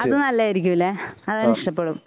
അതു നല്ലതായിരിക്കൂലേ അതവന് ഇഷ്ടപ്പെടും